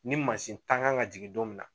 Ni mansin tan kan ka jigin don min na